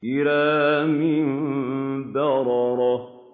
كِرَامٍ بَرَرَةٍ